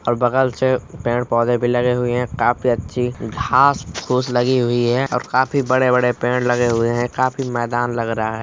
ओर बगल से पेड़ पौधे भी लगे हुए है। काफी अच्छी घास फूस लगी हुई है और काफी बड़े बड़े पेड़ लगे हुये है काफी मैदान लग रहा हे।